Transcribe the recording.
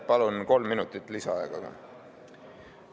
Palun kolm minutit lisaaega!